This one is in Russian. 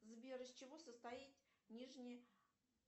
сбер из чего состоит нижний